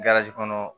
kɔnɔ